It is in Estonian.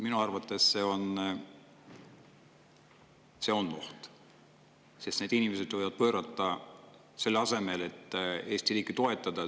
Minu arvates see on oht, sest need inimesed võivad pöörata selle asemel, et Eesti riiki toetada.